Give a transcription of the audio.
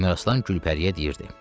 Əmraslan Gülpəriyə deyirdi: